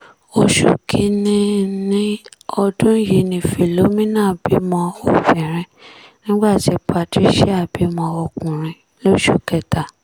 oṣù kìn-ín-ní ọdún yìí ni philomina bímọ obìnrin nígbà tí patricia bímọ ọkùnrin lóṣù kẹta